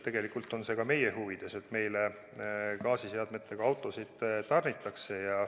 Tegelikult on see ka meie huvides, et meile gaasiseadmetega autosid tarnitakse.